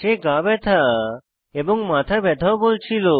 সে গা ব্যথা এবং মাথা ব্যাথাও বলছিল